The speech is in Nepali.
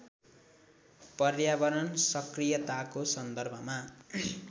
पर्यावरण सक्रियताको सन्दर्भमा